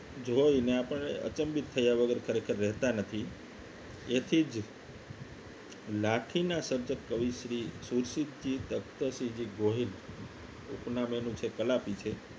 જોય ને અપને અચંબિત થયા વગર ખરેખર રહેતા નથી તેથી જ લાઠીના સંસદ કવિ શ્રી સુશ્રીતજી તખ્તશ્રીજી ગોહિલ ઉપનામ એનું છે કલાપી છે